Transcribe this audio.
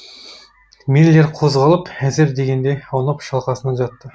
миллер қозғалып әзер дегенде аунап шалқасынан жатты